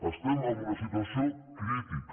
estem en una situació crítica